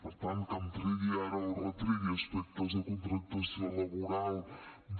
per tant que em tregui ara o retregui aspectes de contractació laboral de